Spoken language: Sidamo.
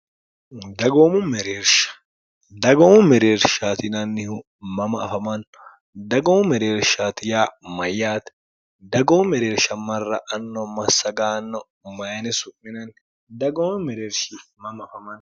dgoomueeshdagoomu mereershtinannihu mama afamanno dagoomu mereershaati ya mayyaati dagoomu mereersha marra anno massagaanno mayini su'minanni dagoomo mereershi mama afaman